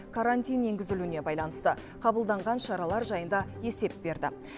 карантин енгізілуіне байланысты қабылданған шаралар жайында есеп берді